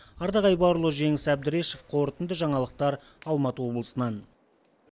ардақ айбарұлы жеңіс әбдірешев қорытынды жаңалықтар алматы облысынан